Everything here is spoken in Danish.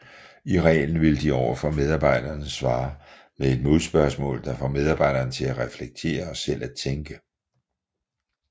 I reglen vil de overfor medarbejdere svare med et modspørgsmål der får medarbejderen til at reflektere og selv at tænke